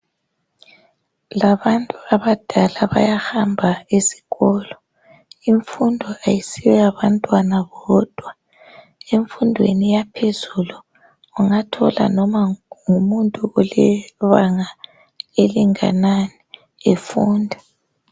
Labantu abadala bayahamba ezikolo. Imfundo ayisiyo yabantwana bodwa emfundweni yaphezulu ungathola noma ngumuntu olebanga elinganani efunda.